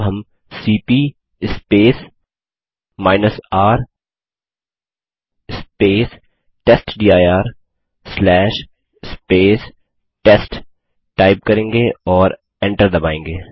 अब हम CP R test dir test type करेंगे और एंटर दबायेंगे